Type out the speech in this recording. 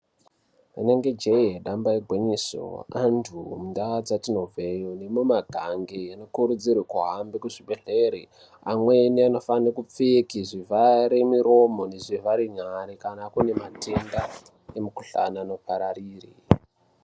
Rinenge jee, damba igwinyiso, anthu mundau dzatinobvayo, nemumagange anokurudzirwe kuti ahambe kuzvibhedhlera, amweni anofane kupfeke zvivhare muromo, nezvivhare nyara, kana kune matenda emukuhlani anopararira.